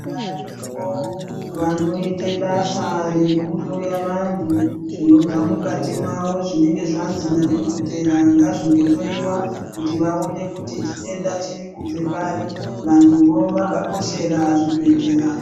Varimwo vanoite basa rekuhloya vantu zvinobva mukati mwao zvinenga zvanzi nadhokodheya ngazvingohloyiwa kuti vaone kuti chitenda chirikubva pari Vantuwo vakakoshera zvibhedhlera